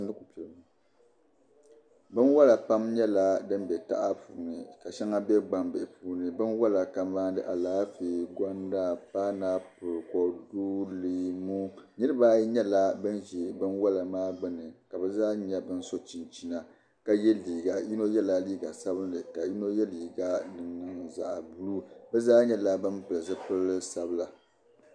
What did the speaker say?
Binwola pam nyɛla din bɛ taha puuni ka shɛŋa bɛ gbambihi puuni binwola kamani Alaafee gonda painapuli kodu ni leemu niraba ayi nyɛla bin ʒi binwola maa gbuni ka bi zaa so chinchina yino zaɣ sabinli yino zaɣ buluu bi zaa nyɛla bin pili zipili sabila